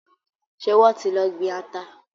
Ṣé wọ́n ti lọ gbin ata.